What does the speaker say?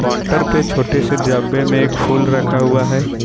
Counter पे छोटे से डब्बे में एक फूल रखा हुआ हैं।